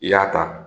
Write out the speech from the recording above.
I y'a ta